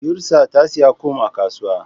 yusra tasiya kum a kasuwa